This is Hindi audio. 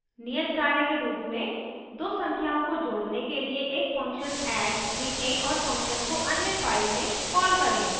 नियत कार्य के रूप में दो संख्याओं को जोडने के लिए एक function add लिखें और function को अन्य file में कॉल करें